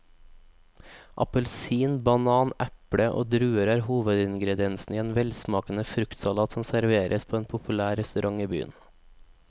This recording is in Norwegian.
Appelsin, banan, eple og druer er hovedingredienser i en velsmakende fruktsalat som serveres på en populær restaurant i byen.